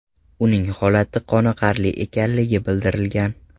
Uning holati qoniqarli ekanligi bildirilgan.